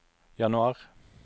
januar